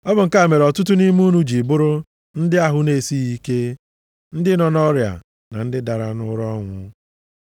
Ọ bụ nke a mere ọtụtụ nʼime unu ji bụrụ ndị ahụ na-esighị ike, ndị nọ nʼọrịa na ndị dara nʼụra ọnwụ.